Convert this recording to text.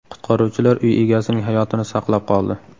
Qutqaruvchilar uy egasining hayotini saqlab qoldi.